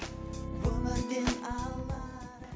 өмірден